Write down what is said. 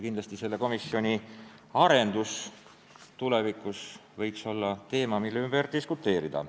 Kindlasti võiks selle komisjoni arendamine tulevikus olla teema, mille üle diskuteerida.